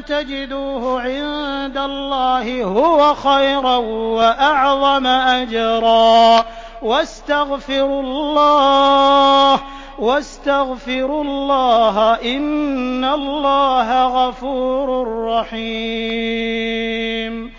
تَجِدُوهُ عِندَ اللَّهِ هُوَ خَيْرًا وَأَعْظَمَ أَجْرًا ۚ وَاسْتَغْفِرُوا اللَّهَ ۖ إِنَّ اللَّهَ غَفُورٌ رَّحِيمٌ